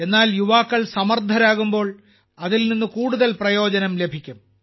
എന്നാൽ യുവാക്കൾ സമർത്ഥരാകുമ്പോൾ അതിൽ നിന്ന് കൂടുതൽ പ്രയോജനം ലഭിക്കും